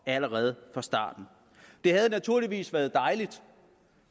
allerede fra starten det havde naturligvis været dejligt